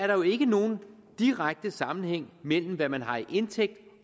der jo ikke er nogen direkte sammenhæng mellem hvad man har i indtægt